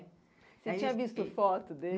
Você tinha visto foto